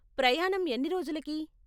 ప్రయాణం ఎన్ని రోజులకి?